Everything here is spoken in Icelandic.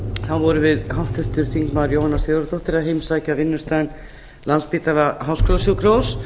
vorum við háttvirtir þingmenn jóhanna sigurðardóttir að heimsækja vinnustaðinn landspítala háskólasjúkrahús